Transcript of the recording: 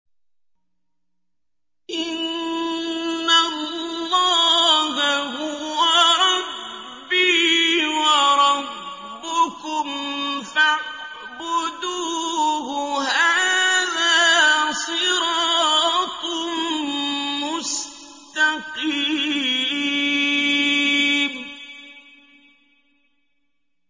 إِنَّ اللَّهَ هُوَ رَبِّي وَرَبُّكُمْ فَاعْبُدُوهُ ۚ هَٰذَا صِرَاطٌ مُّسْتَقِيمٌ